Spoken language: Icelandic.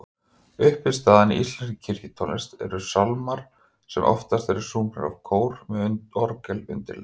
Uppistaðan í íslenskri kirkjutónlist eru sálmar sem oftast eru sungnir af kór með orgelundirleik.